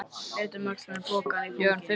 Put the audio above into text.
Leit um öxl með pokann í fanginu.